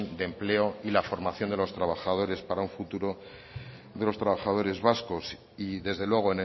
de empleo y la formación de los trabajadores para un futuro de los trabajadores vascos y desde luego